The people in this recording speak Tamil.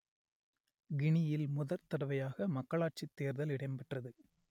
கினியில் முதற்தடவையாக மக்களாட்சித் தேர்தல் இடம்பெற்றது